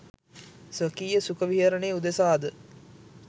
ස්වකීය සුඛ විහරණය උදෙසා ද